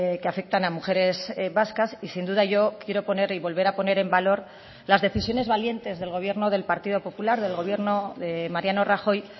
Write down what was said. que afectan a mujeres vascas y sin duda yo quiero poner y volver a poner en valor las decisiones valientes del gobierno del partido popular del gobierno de mariano rajoy